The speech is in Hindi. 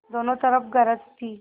दोनों तरफ गरज थी